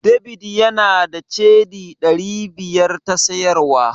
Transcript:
David yana da Cedi ɗari biyar ta siyarwa.